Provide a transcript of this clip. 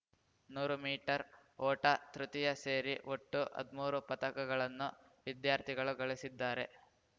ನೂರು ಮೀಟರ್ ಓಟ ತೃತೀಯ ಸೇರಿ ಒಟ್ಟು ಹದ್ಮೂರು ಪದಕಗಳನ್ನು ವಿದ್ಯಾರ್ಥಿಗಳು ಗಳಿಸಿದ್ದಾರೆ